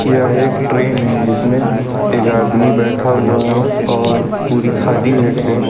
यह एक ट्रेन है इसमें एक आदमी बैठा हुआ है और पूरी खाली है ट्रेन ।